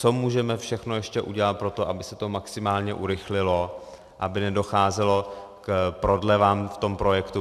Co můžeme všechno ještě udělat pro to, aby se to maximálně urychlilo, aby nedocházelo k prodlevám v tom projektu?